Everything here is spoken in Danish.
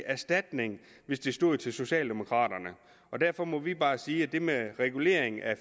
erstatning hvis det stod til socialdemokraterne derfor må vi bare sige at det med regulering af